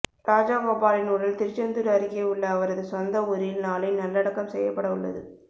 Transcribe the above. ராஜகோபாலின் உடல் திருச்செந்தூர் அருகே உள்ள அவரது சொந்த ஊரில் நாளை நல்லடக்கம் செய்யப்பட உள்ளது